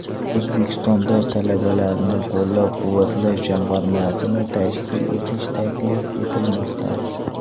O‘zbekistonda Talabalarni qo‘llab-quvvatlash jamg‘armasini tashkil etish taklif etilmoqda.